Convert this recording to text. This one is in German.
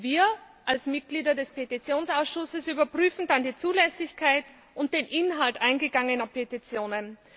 Wir als Mitglieder des Petitionsausschusses überprüfen dann die Zulässigkeit und den Inhalt eingegangener Petitionen.